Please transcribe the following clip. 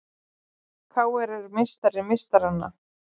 KR er meistari meistaranna